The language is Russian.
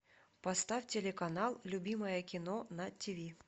поставь телеканал любимое кино на ти ви